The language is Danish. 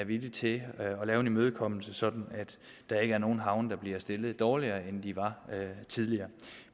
villig til at lave en imødekommelse sådan at der ikke er nogen havne der bliver stillet dårligere end de var tidligere